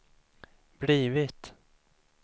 blivit